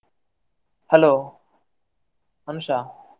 Hello Anusha.